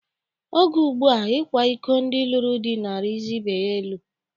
Oge ugbua, ịkwa iko ndị lụrụ di na-arizi ibe ya elu.